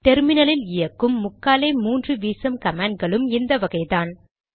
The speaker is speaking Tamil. டெர்மினலில் இயக்கும் முக்காலே முன்று வீசம் கமாண்ட் களும் இந்த வகைதான்